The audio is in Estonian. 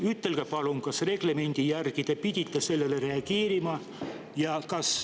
Ütelge palun, kas reglemendi järgi te oleksite pidanud sellele reageerima.